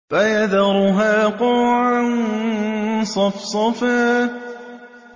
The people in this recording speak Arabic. فَيَذَرُهَا قَاعًا صَفْصَفًا